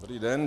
Dobrý den.